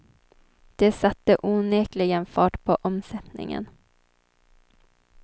Det satte onekligen fart på omsättningen.